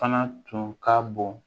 Fana tun ka bon